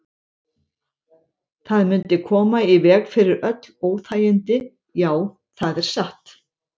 Það mundi koma í veg fyrir öll óþægindi, já, það er satt.